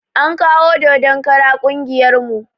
An kawo dodon kara ƙungiyar mu